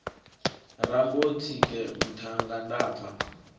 rambo tsike muṱhannga nda pfa